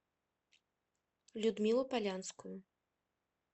людмилу полянскую